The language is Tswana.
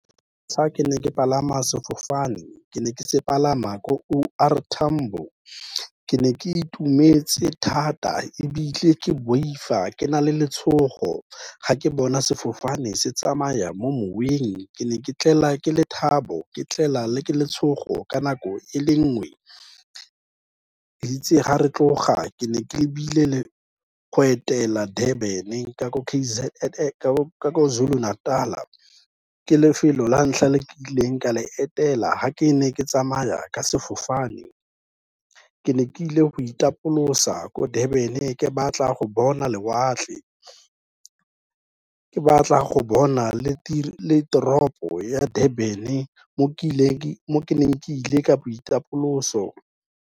Fa ke ne ke palame sefofane, ke ne ke se palama ko O R Tambo. Ke ne ke itumetse thata, ebile ke boifa ke na le letshogo, ga ke bona sefofane se tsamaya mo moweng, ke ne ke tlelwa ke lethabo, ke tlelwa ke letshogo ka nako e le nngwe. Itse ga re tloga ke ne ke lebile go etela Durban ka ko Kwa-Zulu Natal, ke lefelo la ntlha le nkileng ka le etela ha ke ne ke tsamaya ka sefofane. Ke ne ke ile go itapolosa ko Durban, ke batla go bona lewatle, ke batla go bona le toropo ya Durban mo ke ne kile ka boitapoloso.